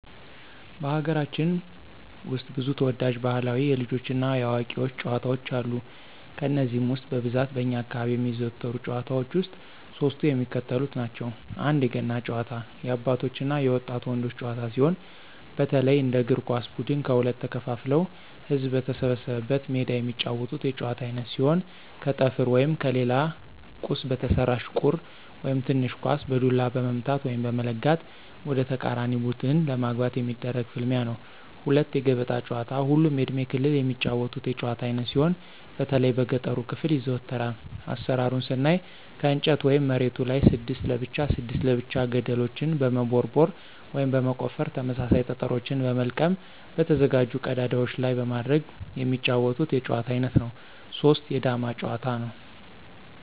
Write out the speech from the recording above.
በሀገራችን ውስጥ ብዙ ተወዳጅ ባህላዊ የልጆች እና የአዋቂዎች ጨዋታዎች አሉ። ከነዚህም ውስጥ በብዛት በእኛ አካባቢ የሚዘወተሩ ጭዋታዎች ውስጥ ሶስቱ የሚከተሉትን ናቸው፦ 1=የገና ጨዋታ- የአባቶች እና የወጣት ወንዶች ጨዋታ ሲሆን፣ በተለይ እንደ እግር ኳስ ብድን ከሁለት ተከፋፍለው ህዝብ በተሰበሰበበት ሜዳ የሚጫወቱት የጨዋታ አይነት ሲሆን ከጠፍር ወይም ከሌላ ቁስ በተሰራች ቁር (ትንሽ ኳስ) በዱላ በመምታት(በመለጋት) ወደተቃራኒ ቡድን ለማግባት የሚደረግ ፍልሚያ ነው። 2=የገበጣ ጨዋታ ሁሉም የእድሜ ክልል የሚጫወቱት የጭዋታ አይነት ሲሆን በተለይ በገጠሩ ክፍል ይዘወተራል። አሰራሩን ስናይ ከእንጨት ወይም መሬቱ ላይ 6 ለብቻ 6 ለብቻ ገደልችን በመቦርቦር (በመቆፈር) ተመሳሳይ ጠጠሮችን በመልቀም በተዘጋጁ ቀዳዳዎች ላይ በማድረግ የሚጫወቱት የጨዋታ አይነት ነው። 3=የዳማ ጭዋታ; ነው።